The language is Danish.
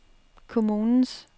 kommunens